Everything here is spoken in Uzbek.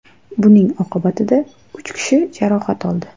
Buning oqibatida uch kishi jarohat oldi.